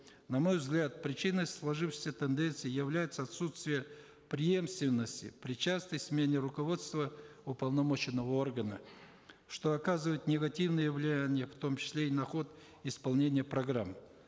на мой взгляд причиной сложившейся тенденции является отсутствие преемственности причастность мнения руководства уполномоченного органа что оказывает негативное влияние в том числе и на ход исполнения программ